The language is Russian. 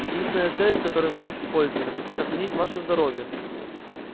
единственная цель с которой мы их используем сохранить ваше здоровье